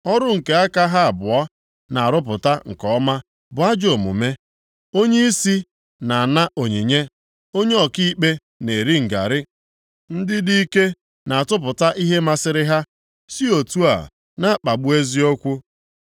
Ọrụ nke aka ha abụọ na-arụpụta nke ọma bụ ajọ omume. Onyeisi na-ana onyinye, onye ọkaikpe na-eri ngarị, ndị dị ike na-atụpụta ihe masịrị ha, si otu a na-akpagbu eziokwu. + 7:3 Maọbụ, ikpe ziri ezi